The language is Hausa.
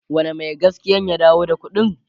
wane Mai gaskiyan ya dawo da ƙuɗin?